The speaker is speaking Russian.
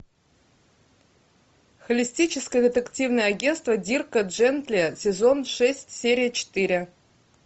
холистическое детективное агентство дирка джентли сезон шесть серия четыре